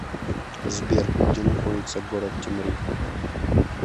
сбер где находится город темрюк